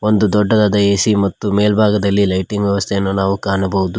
ಒಂದು ದೊಡ್ಡದಾದ ಎ_ಸಿ ಮತ್ತು ಮೆಲ್ಬಾಗದಲ್ಲಿ ಲೈಟಿಂಗ್ ವ್ಯವಸ್ಥೆಯನ್ನು ನಾವು ಕಾಣಬಹುದು.